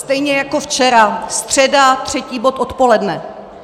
Stejně jako včera, středa třetí bod odpoledne.